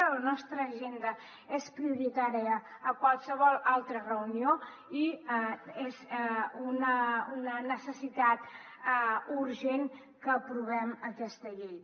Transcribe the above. a la nostra agenda és prioritària a qualsevol altra reunió i és una necessitat urgent que aprovem aquesta llei